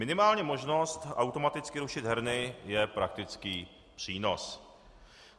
Minimálně možnost automaticky rušit herny je praktický přínos.